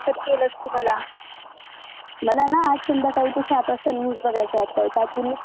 मला ना आज संध्याकाळी सात वाजता न्यूज बघायच्यात दाजींनी सांगितलं सात वाजता खूप चांगल्या न्यूज असतात.